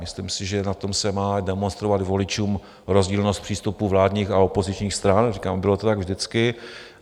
Myslím si, že na tom se má demonstrovat voličům rozdílnost přístupu vládních a opozičních stran, říkám, bylo to tak vždycky.